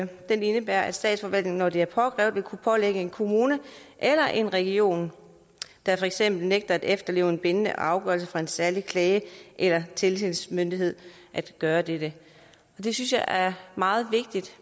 den indebærer at statsforvaltningen når det er påkrævet vil kunne pålægge en kommune eller en region der for eksempel nægter at efterleve en bindende afgørelse fra en særlig klage eller tilsynsmyndighed at gøre dette det synes jeg er meget vigtigt